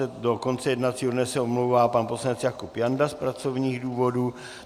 Od 13.30 do konce jednacího dne se omlouvá pan poslanec Jakub Janda z pracovních důvodů.